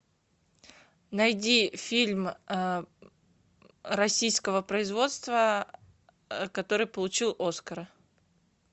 найди фильм российского производства который получил оскара